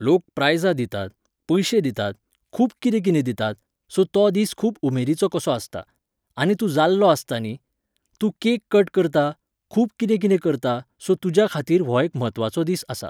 लोक प्रायझां दितात, पयशे दितात, खूब कितें कितें दितात, सो तो दीस खूब उमेदीचो कसो आसता. आनी तूं जाल्लो आसता न्ही? तूं कॅक कट करता, खूब कितें कितें करता सो तुज्या खातीर हो एक म्हत्वाचो दीस आसा.